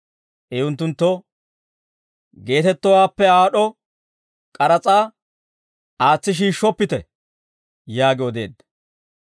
I unttunttoo, «Geetettowaappe aad'd'o k'aras'aa aatsi shiishshoppite» yaagi odeedda.